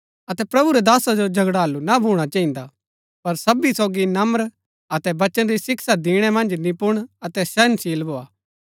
अतै प्रभु रै दासा जो झगड़ालू ना भूणा चहिन्दा पर सबी सोगी नर्म अतै वचन री शिक्षा दिणै मन्ज निपुण अतै सहनशील भोआ